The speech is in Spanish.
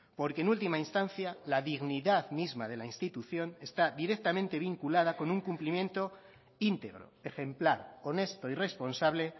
porque en última instancia la dignidad misma de la institución está directamente vinculada con un cumplimiento íntegro ejemplar honesto y responsable